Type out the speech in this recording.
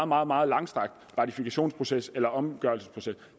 meget meget langstrakt ratifikationsproces eller omgørelsesproces